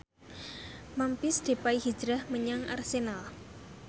Memphis Depay hijrah menyang Arsenal